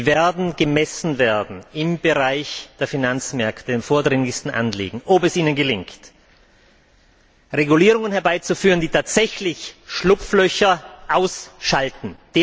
Sie werden gemessen werden im Bereich der Finanzmärkte an den vordringlichsten Anliegen ob es Ihnen gelingt, Regulierungen herbeizuführen, die tatsächlich Schlupflöcher ausschalten.